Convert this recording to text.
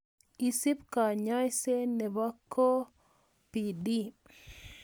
Isuub kanyayse nebo COPD